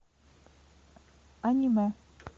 аниме